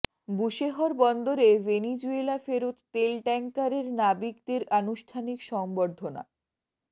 Bushehr বন্দরে Venezuela ফেরত তেল ট্যাংকারের নাবিকদের আনুষ্ঠানিক সংবর্ধনা